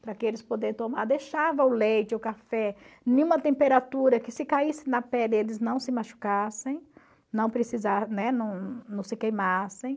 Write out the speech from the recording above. para que eles pudessem tomar, deixava o leite, o café em uma temperatura que se caísse na pele eles não se machucassem, não né, não não se queimassem.